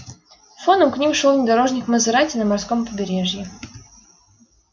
фоном к ним шёл внедорожник мазерати на морском побережье